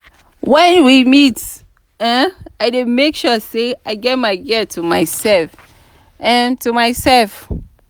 when we meet um i dey make sure say i get my girl to myself um to myself um.